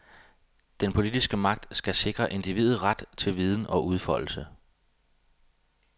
Den politiske magt skal sikre individet ret til viden og udfoldelse.